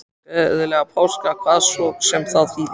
Gleðilega páska, hvað svo sem það þýðir.